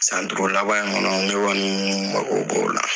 San duuru laban in kɔnɔ ne kɔni n be ko b'o la.